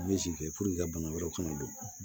i ka bana wɛrɛw kana don